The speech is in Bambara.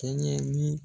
Kɛɲɛ ni